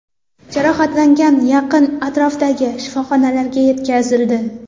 Jarohatlanganlar yaqin atrofdagi shifoxonalarga yetkazildi.